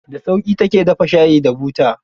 Da sauƙi ta ke dafa shati da buta.